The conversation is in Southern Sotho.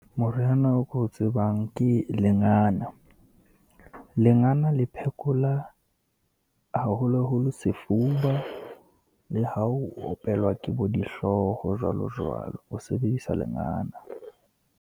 Moriana o ko tsebang ke lengana. Lengana le phekola haholoholo sefuba, le ha opelwa ke bo dihlooho, jwalo, jwalo, o sebedisa lengana.